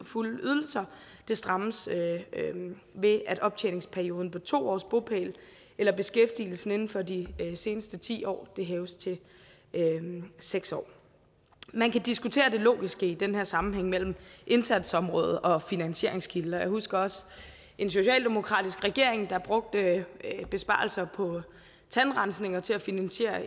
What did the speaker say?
fulde ydelser strammes ved at optjeningsperioden på to års bopæl eller beskæftigelse inden for de seneste ti år hæves til seks år man kan diskutere det logiske i den her sammenhæng mellem indsatsområdet og finansieringskilde og jeg husker også en socialdemokratisk regering der brugte besparelser på tandrensning til at finansiere